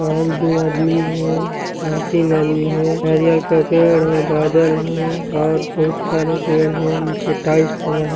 और दो आदमी हैं यह तीन आदमी है नारियल का पेड़ है बादल है यहां बहुत सारे पेड़ हैं नीचे टाइल्स लगा है।